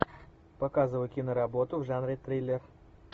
показывай киноработу в жанре триллер